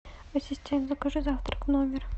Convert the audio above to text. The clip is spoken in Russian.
ассистент закажи завтрак в номер